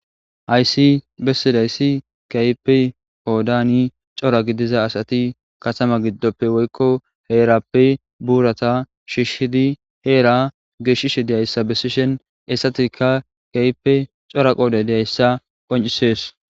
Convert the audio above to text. hayssi bessidayssi kaype hoodani cora gidiza asati katama giddoppe woykko heerappe buurata shishshidi heera geshishe deyayssa besishen essatikka kaype cora qoodhe dzayayssa qoncisees